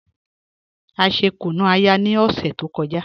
A ṣè kùnú-ayà ni ọṣẹ tó kọ́jà